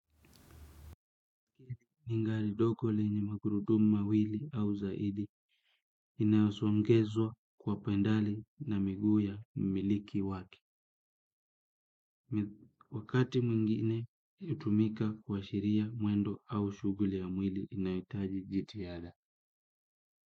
Ni ngari doko lenye makurudumu mawili au zaidi inayosongezwa kwa pendali na miguu ya mmiliki wake. Wakati mwingine hutumika kuashiria mwendo au shughuli ya mwili inahitaji jitiada.